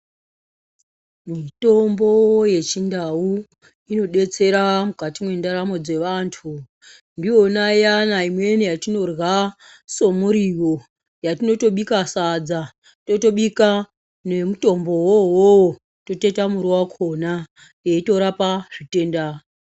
Mitombo yechindau inodetsera mukati mwendaramo dzevantu. Ndiyona iyana imweni yatinorya somuriwo. Yatinotobika sadza, totobika nemitombowo uwowo, totoita muriwo wakona, yeitorapa zvitenda.